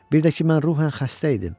Bir də ki, mən ruhən xəstə idim.